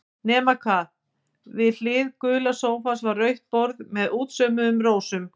Nema hvað, við hlið gula sófans var rautt borð með útsaumuðum rósum.